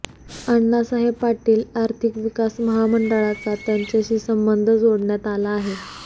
अण्णासाहेब पाटील आर्थिक विकास महामंडळाचा त्याच्याशी संबंध जोडण्यात आला आहे